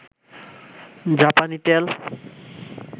জাপানি তেল